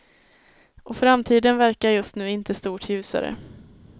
Och framtiden verkar just nu inte stort ljusare.